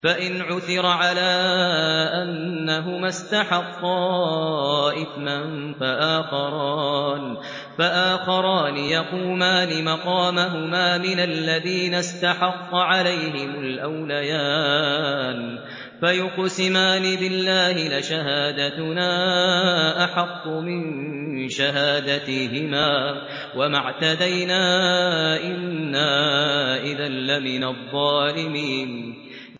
فَإِنْ عُثِرَ عَلَىٰ أَنَّهُمَا اسْتَحَقَّا إِثْمًا فَآخَرَانِ يَقُومَانِ مَقَامَهُمَا مِنَ الَّذِينَ اسْتَحَقَّ عَلَيْهِمُ الْأَوْلَيَانِ فَيُقْسِمَانِ بِاللَّهِ لَشَهَادَتُنَا أَحَقُّ مِن شَهَادَتِهِمَا وَمَا اعْتَدَيْنَا إِنَّا إِذًا لَّمِنَ الظَّالِمِينَ